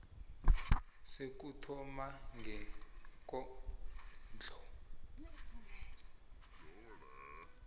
sokuthoma sekondlo engehla